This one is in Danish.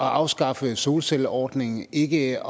at afskaffe solcelleordningen ved ikke